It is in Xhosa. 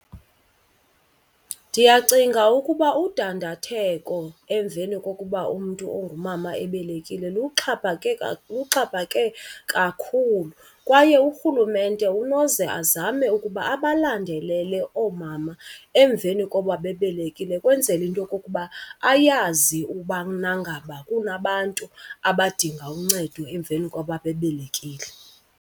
Ndiyacinga ukuba udandatheko emveni kokuba umntu ongumama ebelekile luxhaphake , luxhaphake kakhulu. Kwaye urhulumente unoze azame ukuba abalandelele oomama emveni kokuba bebelekile ukwenzela into yokokuba ayazi ubana ngaba kunabantu abadinga uncedo emveni koba bebelekile.